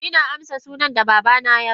Ina amsa sunan da babana ya bani.